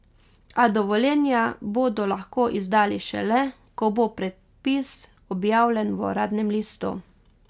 A dovoljenja bodo lahko izdali šele, ko bo predpis objavljen v uradnem listu.